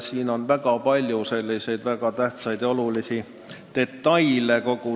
Siin on mängus väga palju väga tähtsaid detaile.